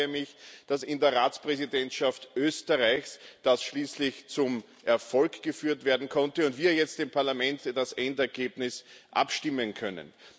Ich freue mich, dass in der Ratspräsidentschaft Österreichs das schließlich zum Erfolg geführt werden konnte und wir jetzt im Parlament über das Endergebnis abstimmen können.